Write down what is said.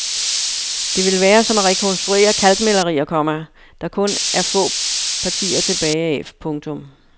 Det vil være som at rekonstruere kalkmalerier, komma der kun er få partier tilbage af. punktum